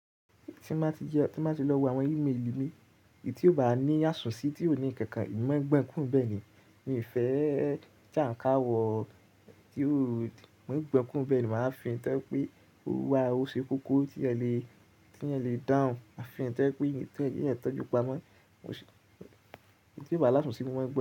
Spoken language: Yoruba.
Tí mo bá ti lọ wo àwọn email mi, èyí tí ò bá ní àsùnsí, tí ò ní nǹkan kan èmi máa ń gbọ̀n ọ́n kúro níbẹ̀ ni mi ò fẹ́ jàkákàrìwọ̀ tí à ń ka wọ, tí ò, mà á gbàn án kúrò níbẹ̀ ni máa fi èyí tó jẹ́ pé ó wá, ó ṣe kókó, tí èèyàn le dáhùn, ma fi èyí tó yẹ pé kí èèyàn tọ́jú pamọ́, èyí tí kò bá ní àsùnsí, mo máa gbán àn.